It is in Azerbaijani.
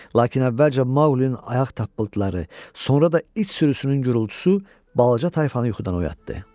Lakin əvvəlcə Mauqlinin ayaq tappıltıları, sonra da iç sürüsünün gurultusu balaca tayfanı yuxudan oyatdı.